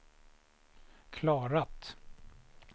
klarat